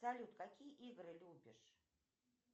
салют какие игры любишь